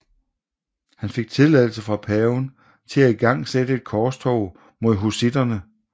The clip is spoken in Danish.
Han fik tilladelse fra paven til at igangsætte et korstog mod hussitterne